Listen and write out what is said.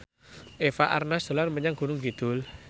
Eva Arnaz dolan menyang Gunung Kidul